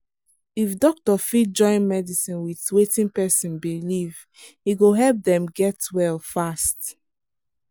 if doctor fit join medicine with wetin person believe e go help dem get well fast.